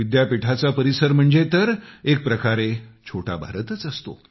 विद्यापीठाचा परिसर म्हणजे तर एक प्रकारे मिनी इंडियाचे असतो